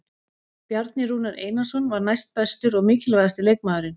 Bjarni Rúnar Einarsson var næstbestur og mikilvægasti leikmaðurinn.